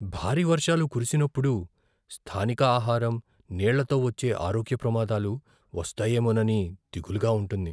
భారీ వర్షాలు కురిసినప్పుడు స్థానిక ఆహారం, నీళ్ళతో వచ్చే ఆరోగ్య ప్రమాదాలు వస్తాయేమోనని దిగులుగా ఉంటుంది.